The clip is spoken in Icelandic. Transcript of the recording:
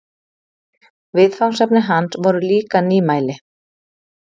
Viðfangsefni hans voru líka nýmæli.